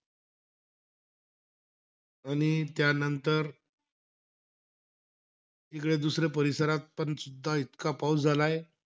आणि त्यानंतर, इकडे दुसरे परिसरात पण सुद्धा इतका पाऊस झालेला आहे.